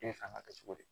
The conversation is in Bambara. E bɛ fɛ ka kɛ cogo di